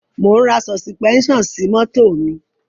Mò ń ra sọ̀sìpẹ́ṣàn sí mọ́tò mi.